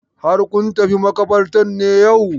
Har kun tafi maƙabartar ne yau?